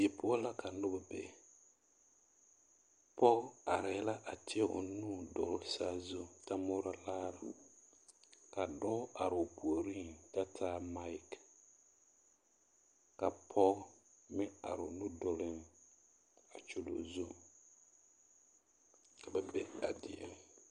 Die poɔ la ka noba be, pɔge arɛɛ la a tēɛ o nu dɔgele saazuŋ ta morɔ laare ka dɔɔ are o puoriŋ kyɛ taa maki ka pɔge meŋ are o nu duluŋ a kyuli o zu ka ba be a die.